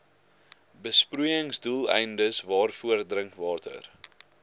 besproeiingsdoeleindes waarvoor drinkwater